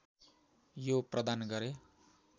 यो प्रदान गरे